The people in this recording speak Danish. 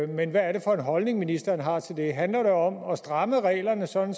men hvad er det for en holdning ministeren har til det handler det om at stramme reglerne sådan